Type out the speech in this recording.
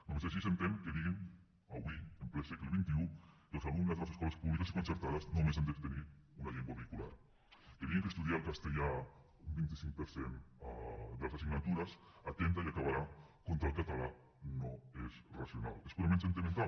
només així s’entén que diguin avui en ple segle xxi que els alumnes de les escoles públiques i concertades només han de tenir una llengua vehicular que diguin que estudiar el castellà un vint cinc per cent de les assignatures atempta i acabarà contra el català no és racional és purament sentimental